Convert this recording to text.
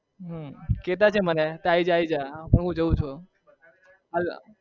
હમ કેતા છે મને આઈ જા જા હું જાઉં છુ